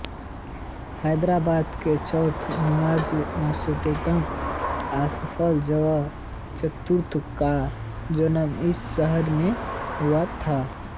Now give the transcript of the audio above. हैदराबाद के चौथे निज़ाम नासिरउददौला आसफ जाह चतुर्थ का जन्म इसी शहर में हुआ था